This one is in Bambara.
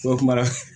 kuma